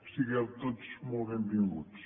sigueu tots molt benvinguts